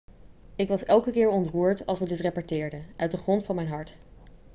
ik was elke keer ontroerd als we dit repeteerden uit de grond van mijn hart